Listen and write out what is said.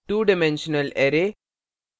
two dimensional array two dimensional array और